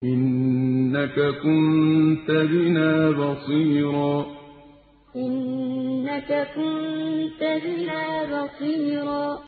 إِنَّكَ كُنتَ بِنَا بَصِيرًا إِنَّكَ كُنتَ بِنَا بَصِيرًا